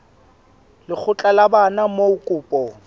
lekgotla la bana moo kopo